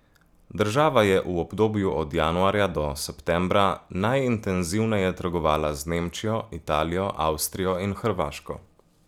Država je v obdobju od januarja do septembra najintenzivneje trgovala z Nemčijo, Italijo, Avstrijo in Hrvaško.